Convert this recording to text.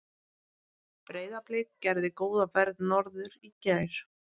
Breiðablik gerði góða ferð norður í gær.